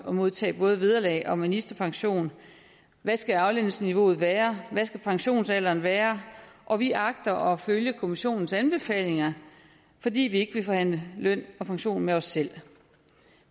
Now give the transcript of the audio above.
at modtage både vederlag og ministerpension og hvad skal aflønningsniveauet være og hvad skal pensionsalderen være og vi agter at følge kommissionens anbefalinger fordi vi ikke vil forhandle løn og pension med os selv